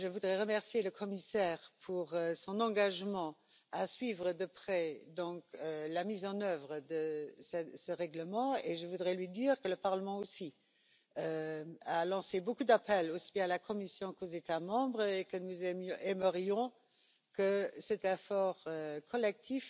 Je voudrais remercier le commissaire pour son engagement à suivre de près la mise en œuvre de ce règlement et lui dire que le Parlement aussi a lancé beaucoup d'appels à la Commission et aux États membres, et que nous aimerions que cet effort collectif